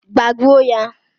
Gbagbuo ya!